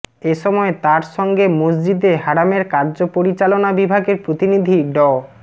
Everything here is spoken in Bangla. এ সময় তার সঙ্গে মসজিদে হারামের কার্যপরিচালনা বিভাগের প্রতিনিধি ড